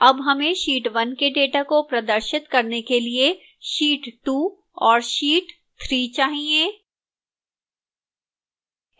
अब हमें sheet 1 के data को प्रदर्शित करने के लिए sheet 2 और sheet 3 चाहिए